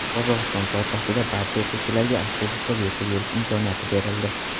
Qozog‘iston poytaxtida barcha o‘quvchilarga avtobusda bepul yurish imkoniyati berildi.